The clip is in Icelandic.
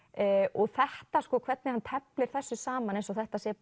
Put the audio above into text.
og þetta hvernig hann teflir þessu saman eins og þetta sé